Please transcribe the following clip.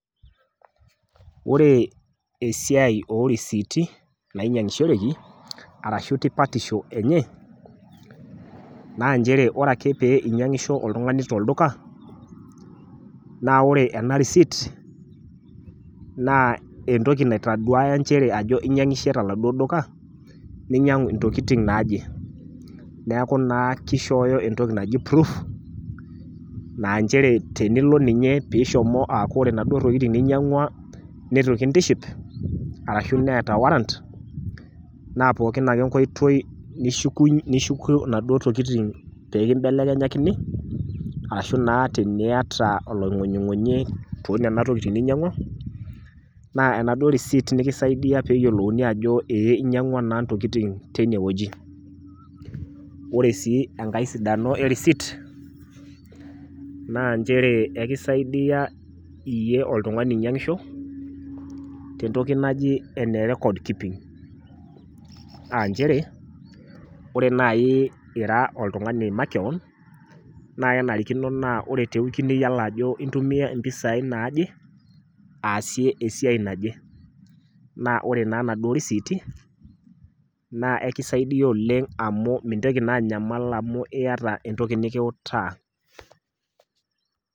Ore esiai orisiti nainyiangishoreki arashu tipatisho enye naa nche ore ake pee inyiangisho oltungani tolduka naa ore ena receipt naa entoki naitaduaya nchere inyiangishe toladuo duka , ninyiangu intokitin naaje, niaku naa kishooyo entoki naji proof naa nchere tenilo ninye peaku ore inaduo tokitin ninyiangwa nitukintiship arashu neeta warrant naa pookin ake enkoitoi nishuku, nishukunyie inaduo tokitin pekimbelekenyakini ashu naa teniata olongunyingunyi toonena tokitin ninyiangwa naa enaduo receipt nekisaidia peyiolouni ajo ee inyiangwaa naa ntokitin teine wueji . Ore sii enkae sidano ereceipt naa nchere ekisaidia iyie oltungani oinyiangisho tentoki naji enerecords keeping, aanchere , ore nai ira oltungani makewon naa kenarikino naa ore tewiki niyiolo ajo intumia impisai naaje aasie esiai naje , naa ore naa inaduo risiiti naa ekisaidia oleng amu mintoki naa anyamal amu iyata entoki nikiutaa.